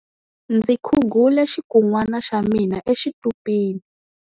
Ndzi khugule xikunwana xa mina exitupini.